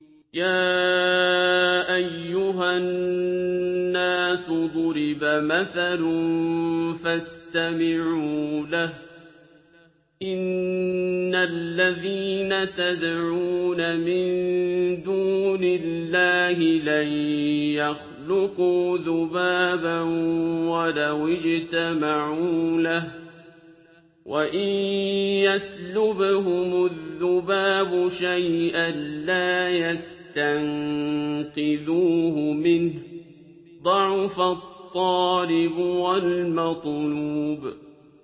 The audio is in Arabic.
يَا أَيُّهَا النَّاسُ ضُرِبَ مَثَلٌ فَاسْتَمِعُوا لَهُ ۚ إِنَّ الَّذِينَ تَدْعُونَ مِن دُونِ اللَّهِ لَن يَخْلُقُوا ذُبَابًا وَلَوِ اجْتَمَعُوا لَهُ ۖ وَإِن يَسْلُبْهُمُ الذُّبَابُ شَيْئًا لَّا يَسْتَنقِذُوهُ مِنْهُ ۚ ضَعُفَ الطَّالِبُ وَالْمَطْلُوبُ